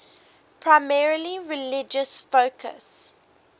primarily religious focus